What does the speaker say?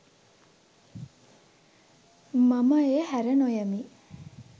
මම එය හැර නොයමි